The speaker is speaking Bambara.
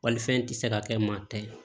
Walifɛn tɛ se ka kɛ maa tɛ ye